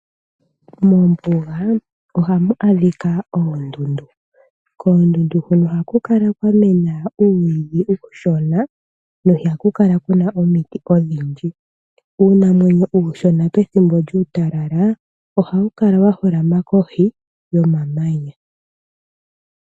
Mombuga ohamu adhika oondundu. Koondundu hono ohaku kala kwamena uumwiidhi uushona, ihaku kala kuna omiti odhindji. Uunamwenyo pethimbo djuu talala ohawu kala wa holama kohi yomamanya.